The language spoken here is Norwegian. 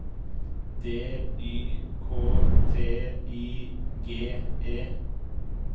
D Y K T I G E